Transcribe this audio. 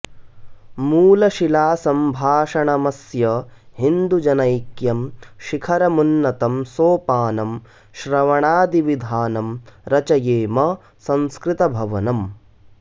मूलशिला सम्भाषणमस्य हिन्दुजनैक्यं शिखरमुन्नतं सोपानं श्रवणादिविधानं रचयेम संस्कृतभवनम्